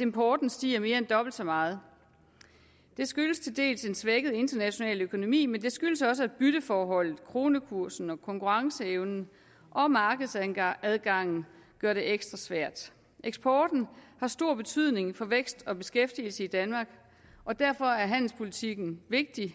importen stiger mere end dobbelt så meget det skyldes til dels en svækket international økonomi men det skyldes også at bytteforholdet kronekursen og konkurrenceevnen og markedsadgangen gør det ekstra svært eksporten har stor betydning for vækst og beskæftigelse i danmark og derfor er handelspolitikken vigtig